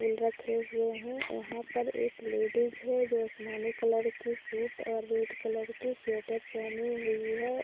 फूल रखे हुए हैं यहां पर एक लेडिज है जो आसमानी कलर की सूट और रेड कलर की स्वेटर पहने हुई हैं उसे--